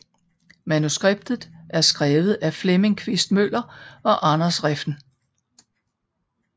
Manuskriptet er skrevet af Flemming Quist Møller og Anders Refn